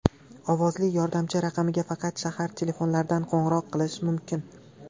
Ovozli yordamchi raqamiga faqat shahar telefonlaridan qo‘ng‘iroq qilish mumkin.